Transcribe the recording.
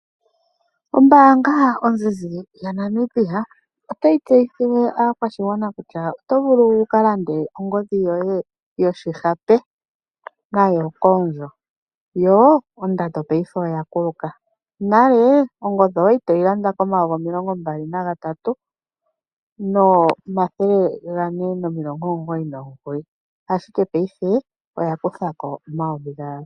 Ombaanga ozizi ya Namibia otayi tseyithile aakwashigwana kutya oto vulu wuka lande ongodhi yoye yoshihape koondjo. Yo ondando ngaashingeyi oya kuluka, nale ongodhi owali toyi landa komayovi omilongo mbali na gatatu nomathele gane nomilongo omugoyi nomugoyi, ashike ngaashingeyi oya kuthako omayovi gaali.